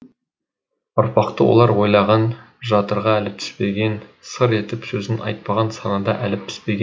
ұрпақты олар ойлаған жатырға әлі түспеген сыр етіп сөзін айтпаған санада әлі піспеген